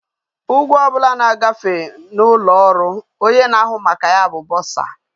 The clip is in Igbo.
Ugwo obula na gafe na ulo oru onye na ahu maka ego bu bursar